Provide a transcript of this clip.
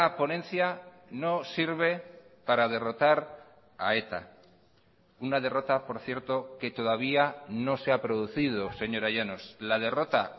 ponencia no sirve para derrotar a eta una derrota por cierto que todavía no se ha producido señora llanos la derrota